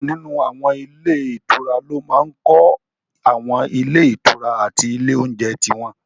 Púpọ̀ nínú àwọn ilé ìtura ló máa n kọ́ àwọn ilé ìtura àti ilé oúnjẹ tí wọ́n